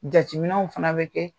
Jateminɛw fana bɛ kɛ